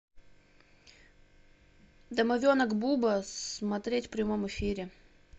домовенок буба смотреть в прямом эфире